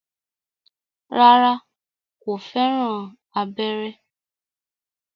Rárá, kò fẹ́ràn abẹ́rẹ́